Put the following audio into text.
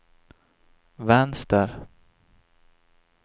vänster